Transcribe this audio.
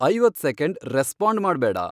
ಐವತ್ second respond ಮಾಡ್ಬೇಡ